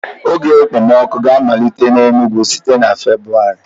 Oge okpomọkụ ga-amalite n'Enugwu site na Febuwari.